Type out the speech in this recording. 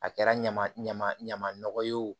A kɛra ɲama ɲama ɲama nɔgɔ ye o